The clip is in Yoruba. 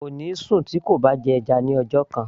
kò ní sùn tí kò bá jẹ́ ẹja ní ọjọ́ kan